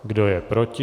Kdo je proti?